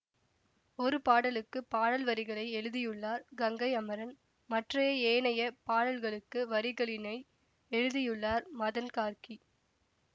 ஒரு பாடலுக்கு பாடல் வரிகளை எழுதியுள்ளார் கங்கை அமரன் மற்றைய ஏனைய பாடல்களுக்கு வரிகளினை எழுதியுள்ளார் மதன் கார்க்கி